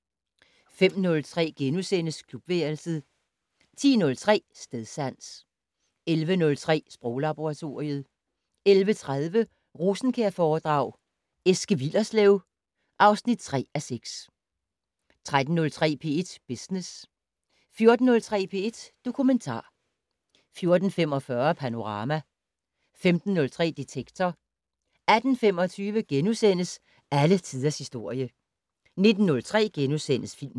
05:03: Klubværelset * 10:03: Stedsans 11:03: Sproglaboratoriet 11:30: Rosenkjærforedrag: Eske Willerslev (3:6) 13:03: P1 Business 14:03: P1 Dokumentar 14:45: Panorama 15:03: Detektor 18:25: Alle tiders historie * 19:03: Filmland *